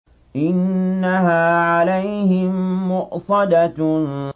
إِنَّهَا عَلَيْهِم مُّؤْصَدَةٌ